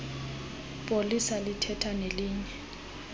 polisa lithetha nelinye